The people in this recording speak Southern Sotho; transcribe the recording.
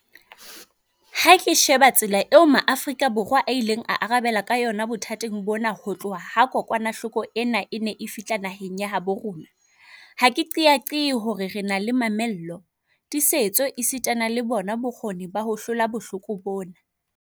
Ha ke sheba tsela eo Maafrika Borwa a ileng a arabela ka yona bothateng bona ho tloha ha kokwanahloko ena e ne e fihla naheng ya habo rona, ha ke qeaqee hore re na le mamello, tiisetso esitana le bona bokgoni ba ho hlola bohloko bona.